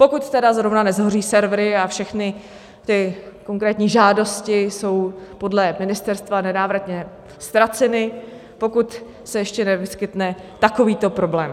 Pokud tedy zrovna neshoří servery a všechny ty konkrétní žádosti jsou podle ministerstva nenávratně ztraceny, pokud se ještě nevyskytne takovýto problém.